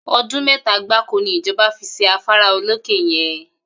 O̩dún mé̩ta gbáko ni ìjo̩ba fi s̩e afárá olókè ye̩n